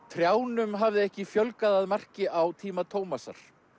trjánum hafði ekki fjölgað að marki á tíma Tómasar